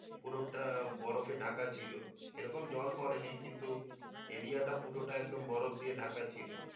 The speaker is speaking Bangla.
পুরো টা বরফে ঢাকা ছিলো যেরকম জল পরেনি কিন্তু area টা পুরো টা একদম বরফ দিয়ে ঢাকা ছিলো।